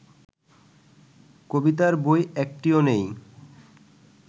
কবিতার বই একটিও নেই